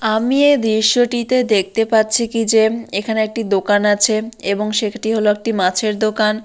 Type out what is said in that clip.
আমি এ দৃশ্যটিতে দেখতে পাচ্ছি কি যে এখানে একটি দোকান আছে এবং সেটি হল একটি মাছের দোকান।